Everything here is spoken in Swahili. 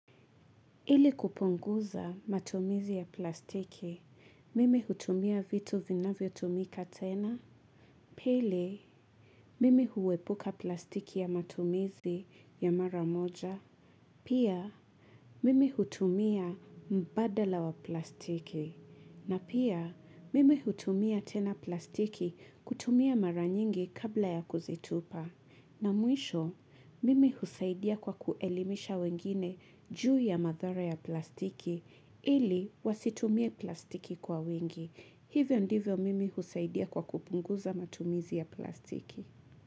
Ili kupunguza matumizi ya plastiki mimi hutumia vitu vinavyotumika tena. Pele, mimi huwepuka plastiki ya matumizi ya mara moja. Pia, mime hutumia mbadala wa plastiki. Na pia, mimi hutumia tena plastiki kutumia mara nyingi kabla ya kuzitupa. Na mwisho, mimi husaidia kwa kuelimisha wengine juu ya madhara ya plastiki ili wasitumie plastiki kwa wingi. Hivyo ndivyo mimi husaidia kwa kupunguza matumizi ya plastiki.